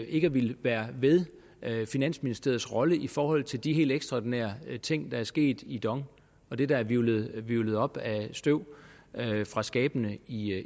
ikke at ville være ved finansministeriets rolle i forhold til de helt ekstraordinære ting der er sket i dong og det der er hvirvlet op af støv fra skabene i